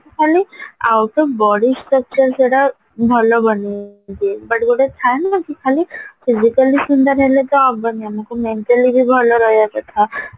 ଖାଲି ଆଉ ତ body structure ସେଇଟା ଭଲ ବନାନ୍ତି but ଯଉଟା ଥାଏ ନା କି physically ସୁନ୍ଦର ତ ହବନି ଆମକୁ mentally ବି ଭଲ ରହିବା କଥା